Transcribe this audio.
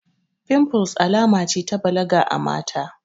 Fimfles alama ce ta balaga a mata